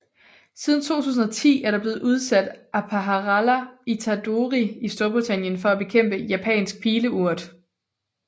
Siden 2010 er der blevet udsat Aphalara itadori i Storbritannien for at bekæmpe Japansk Pileurt